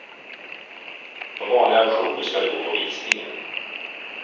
På vanliga auktioner ska du gå på visningen.